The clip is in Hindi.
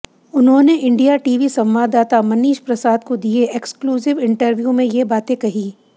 उन्होंने इंडिया टीवी संवाददाता मनीष प्रसाद को दिये एक्सक्लूसिव इंटरव्यू में ये बातें कही